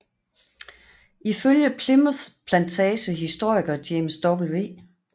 Ifølge Plimoth Plantage historiker James W